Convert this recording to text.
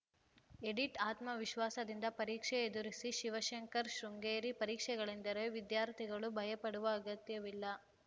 edit ಆತ್ಮವಿಶ್ವಾಸದಿಂದ ಪರೀಕ್ಷೆ ಎದುರಿಸಿ ಶಿವಶಂಕರ್‌ ಶೃಂಗೇರಿ ಪರೀಕ್ಷೆಗಳೆಂದರೆ ವಿದ್ಯಾರ್ಥಿಗಳು ಭಯಪಡುವ ಅಗತ್ಯವಿಲ್ಲ